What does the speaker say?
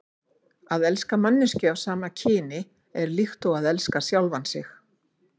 Að elska manneskju af sama kyni er líkt og að elska sjálfan sig.